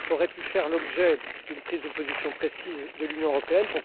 pu faire l'objet d'une prise de position précise de l'Union européenne?